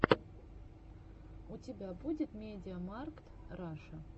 у тебя будет мидиамаркт раша